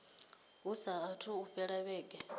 hu saathu u fhela vhege